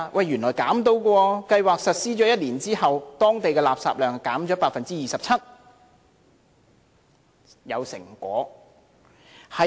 原來是可以的，計劃實施1年後，當地的垃圾量減少了 27%， 是有成果的。